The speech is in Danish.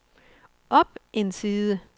op en side